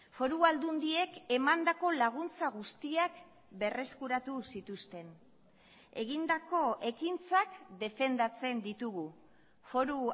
foru aldundiek emandako laguntza guztiak berreskuratu zituzten egindako ekintzak defendatzen ditugu foru